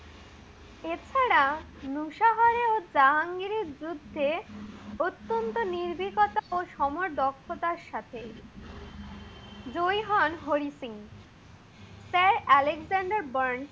এছাড়া নূসাহারে এবং জাহাঙ্গিরের যুদ্ধে অত্যন্ত নিরবিকতা এবং সমর দক্ষতার সাথে জয়ী হন Hari Singh. Sir Alexander band